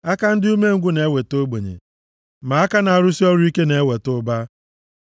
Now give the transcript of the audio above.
Aka ndị umengwụ na-eweta ogbenye, ma aka na-arụsị ọrụ ike na-eweta ụba.